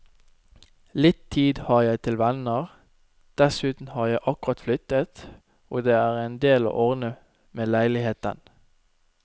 Litt tid har jeg til venner, dessuten har jeg akkurat flyttet, og det er en del å ordne med leiligheten.